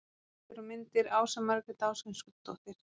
Heimildir og myndir: Ása Margrét Ásgrímsdóttir.